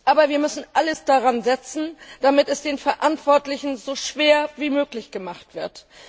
Aber wir müssen alles daransetzen, damit es den Verantwortlichen so schwer wie möglich gemacht wird.